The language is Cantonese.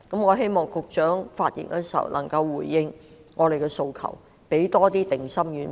我希望局長在發言時能回應我們的訴求，給我們多派些定心丸。